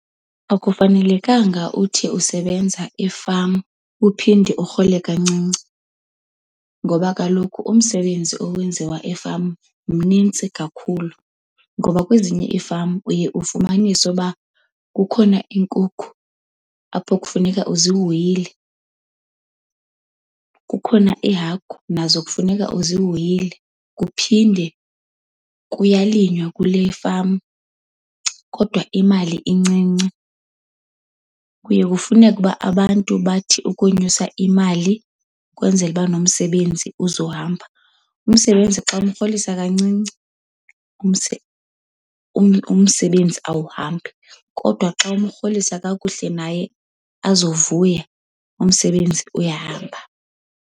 Akufanelekanga uthi usebenza efama uphinde urhole kancinci ngoba kaloku umsebenzi owenziwa efama mnintsi kakhulu. Ngoba kwezinye ifama uye ufumanise uba kukhona iinkukhu apho kufuneka uzihoyile, kukhona iihagu, nazo kufuneka uzihoyile. Kuphinde kuyalinywa kule fama kodwa imali incinci. Kuye kufuneke uba abantu bathi ukunyusa imali kwenzela uba nomsebenzi uzohamba. Umsebenzi xa umrholisa kancinci, umsebenzi awuhambi kodwa xa umrholisa kakuhle naye azovuya, umsebenzi uyahamba.